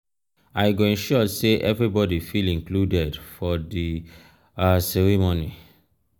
i go ensure say everybody feel included for di um ceremony.